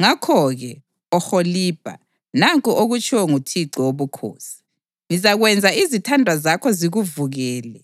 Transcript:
Ngakho-ke, Oholibha, nanku okutshiwo nguThixo Wobukhosi: Ngizakwenza izithandwa zakho zikuvukele,